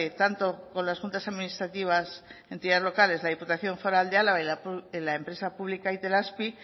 tanto con las juntas administrativas entidades locales la diputación foral de álava y en la empresa pública itelazpi